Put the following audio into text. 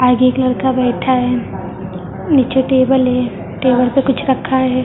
आगे एक लड़का बैठा है नीचे टेबल है टेबल पे कुछ रखा है।